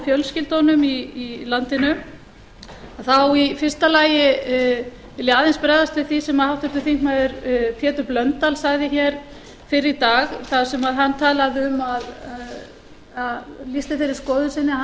og fjölskyldunum í landinu þá í fyrsta lagi vil ég aðeins bregðast við því sem háttvirtur þingmaður pétur blöndal sagði hér fyrr í dag þar sem hann talaði um og lýsti þeirri skoðun sinni að hann